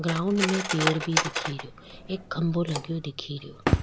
Ground में एक पेड़ दिखे रियो एक खम्भों लग्यो दिखे रियो।